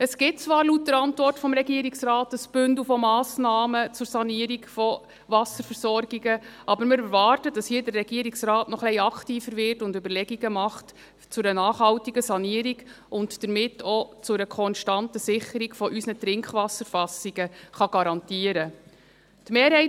Es gibt zwar laut der Antwort des Regierungsrates ein Bündel von Massnahmen zur Sanierung der Wasserversorgungen, aber wir erwarten, dass der Regierungsrat hier noch etwas aktiver wird, Überlegungen zu einer nachhaltigen Sanierung macht und damit auch eine konstante Sicherung unserer Trinkwasserfassungen garantieren kann.